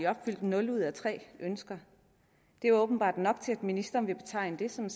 opfyldt nul ud af tre ønsker det er åbenbart nok til at ministeren vil betegne det som